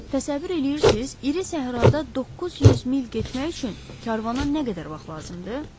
Təsəvvür eləyirsiz, iri səhrada 900 mil getmək üçün karvana nə qədər vaxt lazımdır?